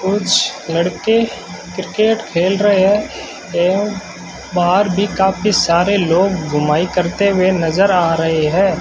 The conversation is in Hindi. कुछ लड़के क्रिकेट खेल रहे हैं एवं बाहर भी काफी सारे लोग घुमाई करते हुए नजर आ रहे है।